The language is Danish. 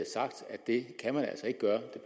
det kan man altså ikke gøre